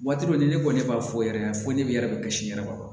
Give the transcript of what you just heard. Waati dɔ ni ne ko ne b'a fɔ yɛrɛ fo ne yɛrɛ bɛ kisi n yɛrɛ ma fɔlɔ